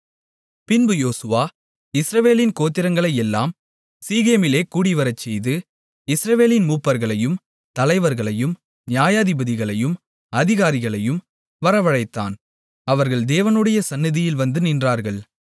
பின்பு யோசுவா இஸ்ரவேலின் கோத்திரங்களையெல்லாம் சீகேமிலே கூடிவரச்செய்து இஸ்ரவேலின் மூப்பர்களையும் தலைவர்களையும் நியாயாதிபதிகளையும் அதிகாரிகளையும் வரவழைத்தான் அவர்கள் தேவனுடைய சந்நிதியில் வந்து நின்றார்கள்